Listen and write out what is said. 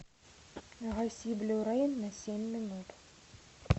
гаси блю рей на семь минут